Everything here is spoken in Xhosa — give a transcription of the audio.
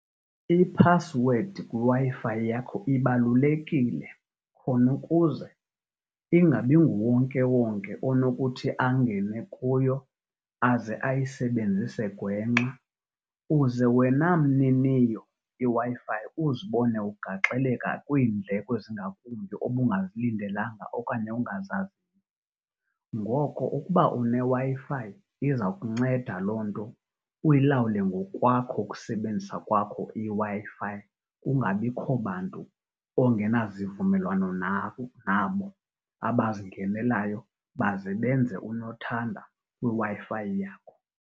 Iphasiwedi kwiWi-Fi yakho ibalulekile khona ukuze ingabi nguwonkewonke onokuthi angene kuyo aze ayisebenzise gwenxa uze wena mniniyo iWi-Fi uzibone ugaxeleka kwiindleko ezingakumbi obungazilindelanga okanye ongazaziyo. Ngoko ukuba uneWi-Fi iza kunceda loo nto uyilawule ngokwakho ukusebenzisa kwakho iWi-Fi, kungabikho bantu ongenazivumelwano nabo abazingenelayo baze benze unothanda kwiWi-Fi yakho.